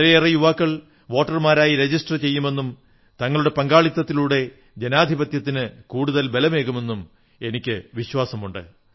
വളരെയേറെ യുവാക്കൾ വോട്ടർമാരായി രജിസ്റ്റർ ചെയ്യുമെന്നും തങ്ങളുടെ പങ്കാളിത്തത്തിലൂടെ ജനാധിപത്യത്തിന് കൂടുതൽ ബലമേകുമെന്നും എനിക്കു വിശ്വാസമുണ്ട്